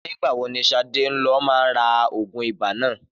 NÌgbà wo ni Shade lo má ra ògùn ibà nà?